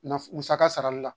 Naf musaka sarali la